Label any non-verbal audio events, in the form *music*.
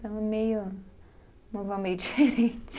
Ela é meio. Uma vó meio diferente. *laughs*